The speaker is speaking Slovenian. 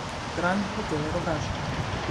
Grand hotel Rogaška.